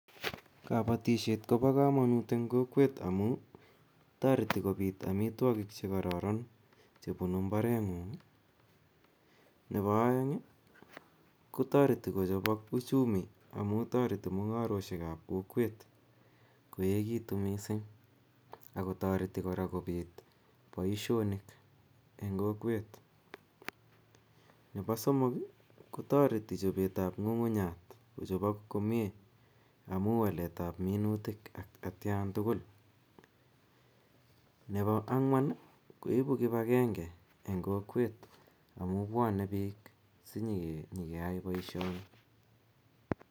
Kobotishet kobokomonut en kokwet amuun toreti kobiit amitwokik chekororon chebunu mbareng'ung, neboo oeng kotoreti kochobok uchumi amuun toreti mung'aroishekab kokwet koekitun mising, akotoreti kora kobiit boishonik en kokwet, nebo somok kotoreti chobetab ng'ung'unyat kochobok komnye amuun waletab minutik atkan tukul, nebo ang'wan koibu kibakeng'e en kokwet amun bwone biik sinyokeyai boishoni.